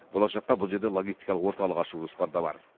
болашақта бұл жерде логистикалық орталық ашу жоспарда бар